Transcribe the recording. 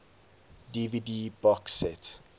dvd box set